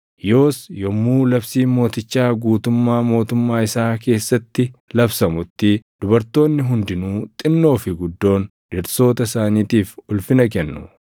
Yoos yommuu labsiin mootichaa guutummaa mootummaa isaa keessatti labsamutti dubartoonni hundinuu xinnoo fi guddoon dhirsoota isaaniitiif ulfina kennu.”